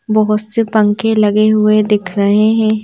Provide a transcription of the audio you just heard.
बहुत से पंखे लगे हुए दिख रहे हैं।